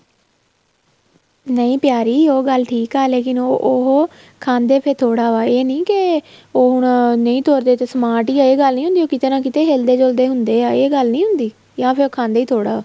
ਨਹੀਂ ਪਿਆਰੀਂ ਉਹ ਗੱਲ ਠੀਕ ਆ ਲੇਕਿਨ ਉਹ ਖਾਂਦੇ ਪੇ ਥੋੜਾ ਵਾ ਇਹ ਨਹੀਂ ਕੇ ਉਹ ਹੁਣ ਨਹੀਂ ਤੁਰਦੇ ਤੇ smart ਹੀ ਹੈਗੇ ਇਹ ਗੱਲ ਨਹੀਂ ਹੁੰਦੀ ਉਹ ਕਿੱਤੇ ਨਾ ਕਿੱਤੇ ਹਿਲਦੇ ਜੁਲਦੇ ਹੁੰਦੇ ਆ ਇਹ ਗੱਲ ਨਹੀਂ ਹੁੰਦੀ ਜਾ ਫ਼ਿਰ ਉਹ ਖਾਂਦੇ ਥੋੜਾ